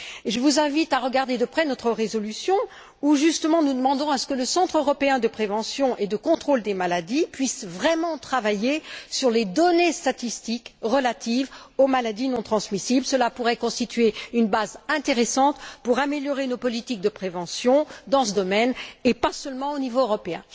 Je vous invite à étudier de près notre résolution, dans laquelle nous demandons justement à ce que le Centre européen de prévention et de contrôle des maladies puisse vraiment travailler sur les données statistiques relatives aux maladies non transmissibles. Ce travail pourrait constituer une base intéressante pour améliorer nos politiques de prévention dans ce domaine, et pas seulement au niveau européen.